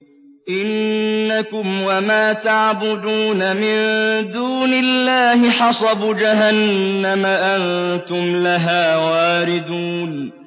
إِنَّكُمْ وَمَا تَعْبُدُونَ مِن دُونِ اللَّهِ حَصَبُ جَهَنَّمَ أَنتُمْ لَهَا وَارِدُونَ